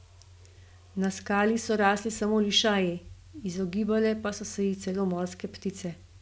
Na skali so rasli samo lišaji, izogibale pa so se ji celo morske ptice.